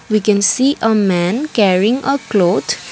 we can see a man carrying a cloth.